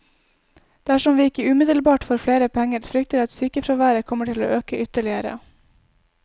Dersom vi ikke umiddelbart får flere penger, frykter jeg at sykefraværet kommer til å øke ytterligere.